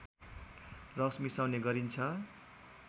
रस मिसाउने गरिन्छ